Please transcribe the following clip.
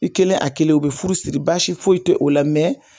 I kɛlen a kelen u bɛ furu siri baasi foyi tɛ o la mɛ